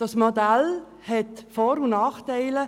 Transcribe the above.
Dieses Modell hat Vor- und Nachteile.